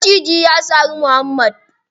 Maciji ya sari muhammad.